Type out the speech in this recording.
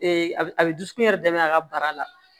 a bɛ a bɛ dusukun yɛrɛ daminɛ a ka bara la